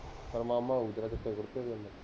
ਮਾਮਾ ਹੋਊ ਫੇਰ ਤੇਰਾ ਚਿਟੇ ਕੁੜਤੇ ਪਜਾਮੇ ਵਾਲਾ